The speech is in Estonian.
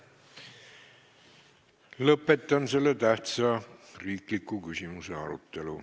Lõpetan selle tähtsa riikliku küsimuse arutelu.